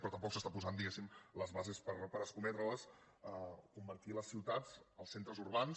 però tampoc s’estan posant diguéssim les bases per escometre les convertir les ciutats els centres urbans